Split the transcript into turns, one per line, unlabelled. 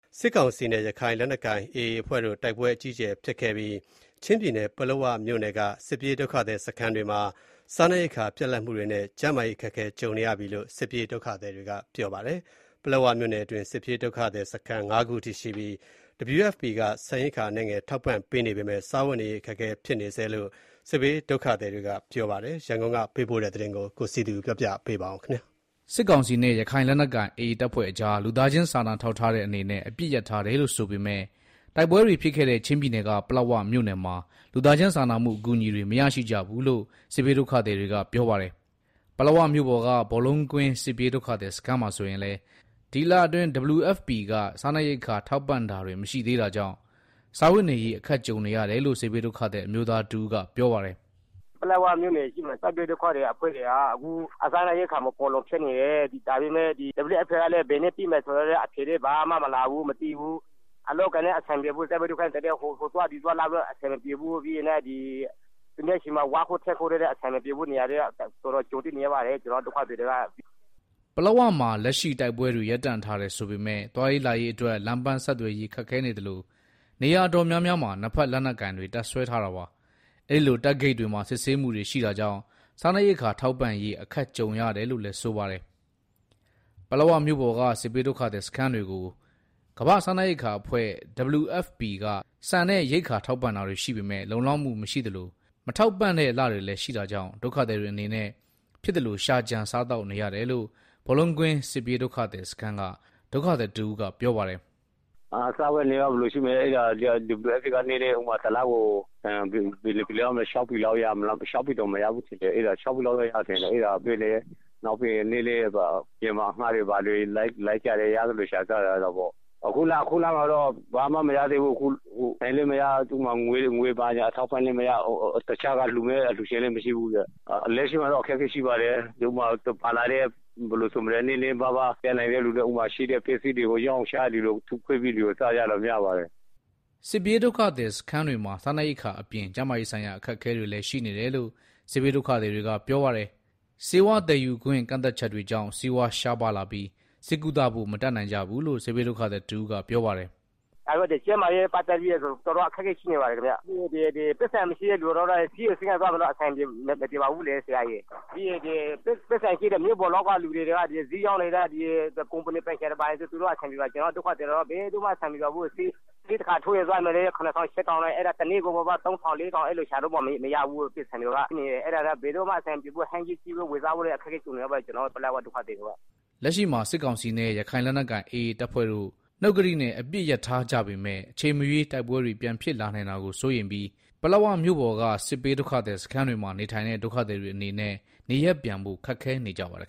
စစ်ကောင်စီနဲ့ ရခိုင်လက်နက်ကိုင်AAအဖွဲ့တို့ တိုက်ပွဲ အကြီးအကျယ်ဖြစ်ပွားခဲ့တဲ့ ချင်းပြည်နယ် ပလက်ဝမြို့နယ်က စစ်ပြေးဒုက္ခသည်စခန်းတွေမှာ စားနပ်ရိက္ခာပြတ်လပ်မှူတွေနဲ့ ကျန်းမာရေးအခက်ကြုံနေရတယ်လို့ စစ်ပြေးဒုက္ခသည်တွေကပြောပါတယ်။ ပလက်ဝမြို့ နယ်တွင်း စစ်ပြေးဒုက္ခသည်စခန်း ၅ခုအထိရှိပြီး WFP က ဆန်ရိက္ခာ အနည်းငယ်ထောက်ပံ့နေပေမယ့် စားဝတ်နေရေးခက်ခဲနေဆဲဖြစ်တယ်လို့ စစ်ဘေးဒုက္ခသည်တွေက ပြောပါတယ်။ ရန်ကုန်ကပေးပို့တဲ့သတင်း ကိုစည်သူပြောပြမှာပါ။
စစ်ကောင်စီနဲ့ ရခိုင်လက်နက်ကိုင် AA အဖွဲ့တို့အကြား လူသားချင်းစားနာထောက်ထားတဲ့အနေနဲ့ အပစ်ရပ်ထားတယ်လို့ဆိုပေမယ့်၊ တိုက်ပွဲတွေဖြစ်ခဲ့တဲ့ ချင်းပြည်နယ်က ပလက်ဝမြို့နယ်မှာ လူသားချင်းစာနာမှုအကူအညီတွေ မရရှိကြဘူးလို့ စစ်ဘေးဒုက္ခသည်တွေက ပြောပါတယ်။ ပလက်ဝမြို့ပေါ်က ဘောလုံးကွင်းစစ်ပြေးဒုက္ခသည်စခန်းမှာဆိုရင်လည်း ဒီလအတွင်း WFPက စားနပ်ရိက္ခာထောက်ပံ့တာတွေမရှိသေးတာကြောင့် စားဝတ်နေရေးအခက်ကြုံနေရတယ်လို့ စစ်ဘေးဒုက္ခသည် အမျိုးသားတဦးကပြောပါတယ်။
“ ပလက်ဝမြို့နယ် စစ်ဘေးဒုက္ခသည်တွေက စားနပ်ရိက္ခာမဖူလုံဖြစ်နေတယ်၊ WFPကလဲ ဘယ်နေ့ပေးမယ်ဆိုတာလဲ အဖြေလဲမလာဘူးမသိဘူး။ အလုပ်အကိုင်တွေလဲ အဆင်မပြေဘူး ဟိုသွား ဒီသွားကလဲ အဆင်မပြေဘူး၊ သူများဆီမှာ ဝါးခုတ်ထင်းခုတ်တွေလဲ အဆင်မပြေဘူး၊ အခက်အခဲတော်တော်ကြုံတွေ့နေရပါတယ် ကျနော်တို့ ဒုက္ခသည်တ
ွေက။” ပလက်ဝမှာလက်ရှိတိုက်ပွဲတွေ ရပ်တန့်ထားတယ်ဆိုပေမယ့် သွားရေးလာရေးအတွက် လမ်းပန်းဆက်သွယ် ရေးခက်ခဲသလို နေရာတော်တော်များများမှာ နှစ်ဖက်လက်နက်ကိုင်တပ်စွဲထားတာပါ။ အဲလို တပ်ဂိတ်တွေမှာ စစ်ဆေးမှုတွေရှိတာကြောင့် စားနပ်ရိက္ခာထောက်ပံ့ရေးအခက်ကြုံကြရတယ်လို့ဆိုပါတယ်။ ပလက်ဝမြို့ပေါ်က စစ်ဘေးဒုက္ခသည်စခန်းတွေကို ကမ္ဘာ့စားနပ်ရိက္ခာအဖွဲ့ WFP က ဆန်ရိက္ခာထောက်ပံ့တာတွေရှိပေမယ့် လုံလောက်မှုမရှိသလို၊ မထောက်ပံ့တဲ့လတွေလဲ ရှိတာကြောင့် ဒုက္ခသည်တွေအနေနဲ့ဖြစ်သလို ရှာကြံစားသောက်နေရတယ်လို့ ဘောလုံးကွင်းစစ်ပြေးဒုက္ခသည်စခန်းက ဒုက္ခသည်တဦးကပြောပါတယ်။
“ စားဝတ်နေရေးကတော့ ဘယ်လိုရှိမလဲ WFPက တစ်လကို ဆန် ၆ပြည်လောက် ပေးတယ်၊ နောက်အပြင်မှာ အငှားလိုက်ပြီးတော့ ဖြစ်သလို ရှာစားကြတယ်၊ အခုလမှာတော့ ဘာမှ မရ ဆန်လဲမရ ငွေဘာညာလဲမရ၊ တခြားက လှူမယ့်အလှူရှင်လဲ မရှိဘူးဆိုတော့၊လက်ရှိမှာတော့ အခက်အခဲရှိပါတယ်၊ နည်းနည်းပါးပါး ရှိတဲ့သူတွေကလဲ ပါလာတဲ့ ပစ္စည်းတွေကို ထုခွဲရောင်းချပြီးတော့ စားကြပါတယ်။
” စစ်ပြေးဒုက္ခသည်စခန်းတွေမှာ စားနပ်ရိက္ခာအပြင် ကျန်းမာရေးဆိုင်ရာ အခက်အခဲတွေလဲရှိနေတယ်လို့ စစ်ဘေးဒုက္ခသည်တွေကပြောပါတယ်။ ဆေးဝါးသယ်ယူခွင့် ကန့်သတ်ချက်တွေကြောင့် ဆေးဝါးရှားပါးလာပြီး ဆေးကုသဖို့ မတတ်နိုင်ကြဘူးလို့ စစ်ဘေးဒုက္ခသည်တဦးကပြောပါတယ်။
“ ကျန်းမာရေးနဲ့ ပတ်သတ်ပြီး ကျနော်တို့တော်တော်အခက်ကြုံနေရတယ်၊ ဆေးရုံဆေး ခန်းသွားဖို့လဲ အဆင်မပြေဘူး၊ မြို့ပေါ်က ဆိုင်ပိုင်ရှင်တွေ ကုမ္ဗဏီပိုင်ရှင် တွေကတော့ အဆင်ပြေတယ် ကျနော်တို့ဒုက္ခသည်တွေက ဘယ်သူမှအဆင်မပြေဘူး၊ ဆေးတခါးထိုးရင် ၇ထောင် ၈ထောင်နဲ့ တစ်နေ့ကို သုံးလေးထောင်တောင်ရှာမရဘူး။ ဟင်းသီးဟင်းရွက် ဝယ်စားဖို့တောင် ဒုက္ခကြုံနေရတယ်။”
လက်ရှိမှာ စစ်ကောင်စီနဲ့ ရခိုင်လက်နက်ကိုင်AAအဖွဲ့တို့ နှုတ်ကတိနဲ့ အပစ်ရပ်ထားကြတယ်ဆိုပေမယ့် အချိန်မရွေးတိုက်ပွဲတွေ ပြန်ဖြစ်လာနိုင်တာကိုစိုးရိမ်ပြီး၊ ပလက်ဝမြို့ပေါ်က စစ်ပြေးဒုက္ခသည်စခန်းတွေမှာ နေထိုင်တဲ့ ဒုက္ခသည်တွေအနေနဲ့ နေရပ်ပြန်ဖို့ခက်ခဲနေကြပါတယ်